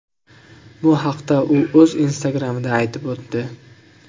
Bu haqda u o‘z Instagram’ida aytib o‘tdi .